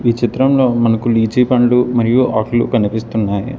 ఈ చిత్రంలో మనకు లీచీ పండ్లు మరియు ఆకులు కనిపిస్తున్నాయి.